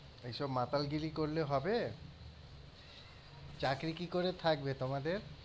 এইসব মাতালগিরি করলে হবে? চাকরী কি করে থাকবে তোমাদের?